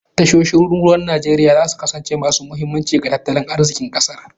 Tashoshin ruwan Najeriya za su kasance masu muhimmanci ga tattalin arzikin kasar.